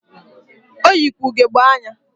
Oyikwa ugegbe anya.